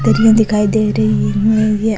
दरिया दिखाई दे रही है ये --